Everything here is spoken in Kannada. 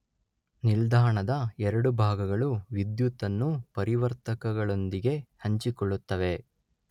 ನಿಲ್ದಾಣದ ಎರಡು ಭಾಗಗಳು ವಿದ್ಯುತ್ ಅನ್ನು ಪರಿವರ್ತಕಗಳೊಂದಿಗೆ ಹಂಚಿಕೊಳ್ಳುತ್ತವೆ.